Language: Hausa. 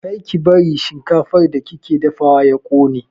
Kar ki bari shinkafar da kike dafawa ya ƙone!